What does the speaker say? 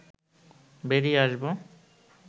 বেরিয়ে আসব